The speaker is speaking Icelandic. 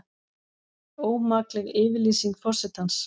Ómakleg yfirlýsing forsetans